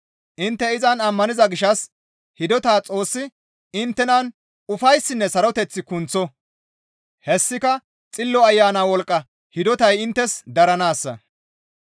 Intte izan ammaniza gishshas hidota Xoossi inttenan ufayssinne saroteth kunththo; hessika Xillo Ayana wolqqa hidotay inttes daranaassa.